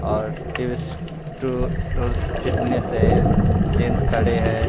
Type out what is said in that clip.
Artist to fitness है gents खड़े है ।